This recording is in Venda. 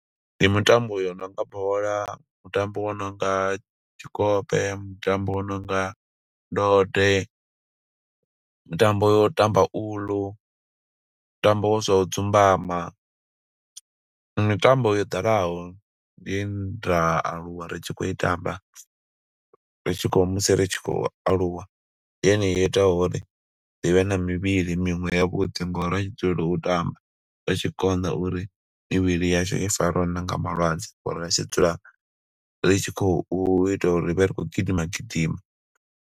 Ndi mitambo yo nonga bola, mutambo wo no nga tshikope, mutambo wo no nga ndode, mutambo yo u tamba uḽu, mutambo wo zwa u dzumbama. Ndi mitambo yo ḓalaho, ye nda aluwa ri tshi khou i tamba, ri tshi khou, musi ri tshi khou aluwa. Ndi yone yo itaho uri ri vhe na mivhili miṅwe ya vhuḓi, ngo uri ra tshi dzulela u tamba. Zwa zwi tshi konḓa uri mivhili yashu i fariwe na nga malwadze ngo uri ra ri tshi dzula ri tshi khou ita uri ri vhe ri khou gidima gidima.